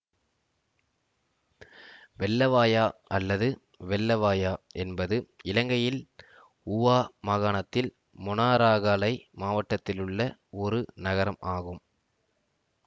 வெள்ளவாயா அல்லது வெல்லவாயா என்பது இலங்கையின் ஊவா மாகாணத்தில் மொனராகலை மாவட்டத்திலுள்ள ஒரு நகரம் ஆகும்